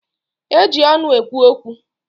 E ji ọnụ ekwu okwu.